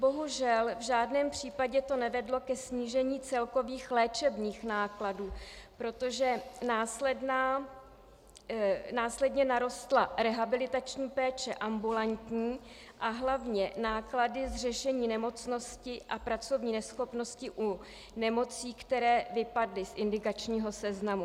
Bohužel, v žádném případě to nevedlo ke snížení celkových léčebných nákladů, protože následně narostla rehabilitační péče ambulantní a hlavně náklady z řešení nemocnosti a pracovní neschopnosti u nemocí, které vypadly z indikačního seznamu.